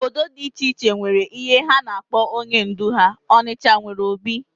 Obodo dị iche iche nwere ihe ha na-akpọ onye ndú ha. Ọnịcha nwere obi